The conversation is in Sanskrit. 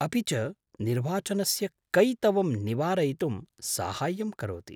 अपि च निर्वाचनस्य कैतवं निवारयितुं साहाय्यं करोति।